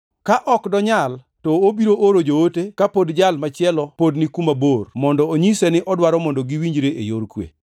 Ka ok donyal, to obiro oro joote ka pod jal machielo pod ni kuma bor, mondo onyise ni odwaro mondo giwinjre e yor kwe.